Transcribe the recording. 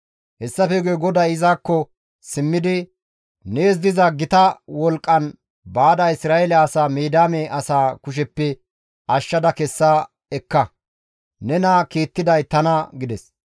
Hessafe guye GODAY izakko simmidi, «Nees diza gita wolqqan baada Isra7eele asaa Midiyaame asaa kusheppe ashshada kessa ekka; nena kiittiday tana» gides.